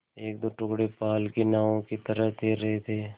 एकदो टुकड़े पाल की नावों की तरह तैर रहे थे